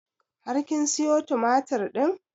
Har kin siyo tumatur ɗin?